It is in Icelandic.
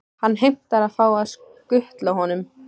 Hann heimtar að fá að skutla honum.